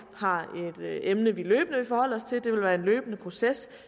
har et emne vi løbende vil forholde os til det vil være en løbende proces